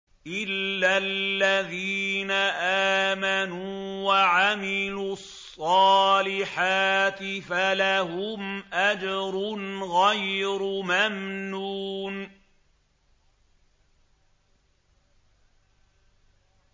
إِلَّا الَّذِينَ آمَنُوا وَعَمِلُوا الصَّالِحَاتِ فَلَهُمْ أَجْرٌ غَيْرُ مَمْنُونٍ